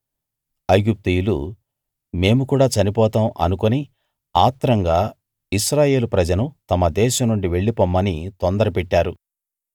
ఐగుప్తీయులు మేము కూడా చనిపోతాం అనుకుని ఆత్రంగా ఇశ్రాయేల్ ప్రజను తమ దేశం నుండి వెళ్ళిపొమ్మని తొందర పెట్టారు